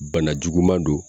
Bana juguman don.